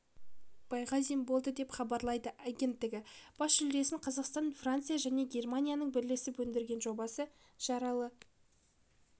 байғазин болды деп хабарлайды агенттігі бас жүлдесін қазақстан франция және германияның бірлесіп өндірген жобасы жаралы